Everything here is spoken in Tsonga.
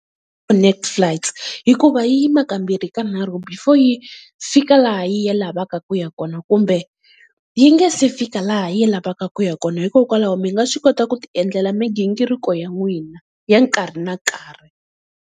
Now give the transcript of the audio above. Netflights hikuva yi yima kambirhi kanharhu before yi fika laha yi lavaka ku ya kona, kumbe yi nga se fika laha yi lavaka ku ya kona hikokwalaho mi nga swi kota ku ti endlela migingiriko ya n'wina ya nkarhi na nkarhi.